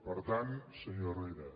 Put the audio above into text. per tant senyor herrera